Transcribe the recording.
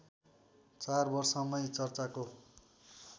चार वर्षमै चर्चाको